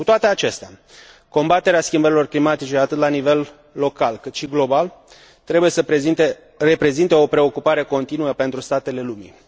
Cu toate acestea, combaterea schimbărilor climatice atât la nivel local, cât și global, trebuie să reprezinte o preocupare continuă pentru statele lumii.